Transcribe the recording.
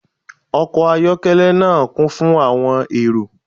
Ọkọ ayọkẹlẹ naa kun fun awọn ero